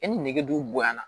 E ni nege dun bonya na